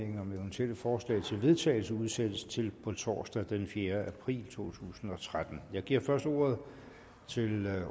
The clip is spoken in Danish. om eventuelle forslag til vedtagelse udsættes til torsdag den fjerde april to tusind og tretten jeg giver først ordet til